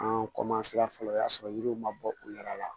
An fɔlɔ o y'a sɔrɔ yiriw ma bɔ u yɛrɛ la